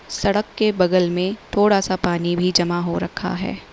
सड़क के बगल में थोड़ा सा पानी भी जमा हो रखा है।